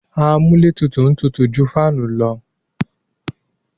Amúlétutù tutù ju fáànù lọ.